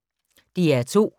DR2